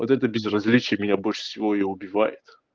вот это безразличие меня больше всего и убивает